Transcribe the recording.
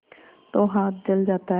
तो हाथ जल जाता है